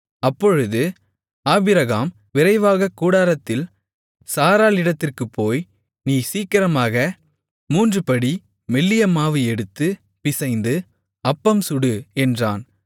அப்பொழுது ஆபிரகாம் விரைவாகக் கூடாரத்தில் சாராளிடத்திற்குப் போய் நீ சீக்கிரமாக மூன்றுபடி மெல்லிய மாவு எடுத்துப் பிசைந்து அப்பம் சுடு என்றான்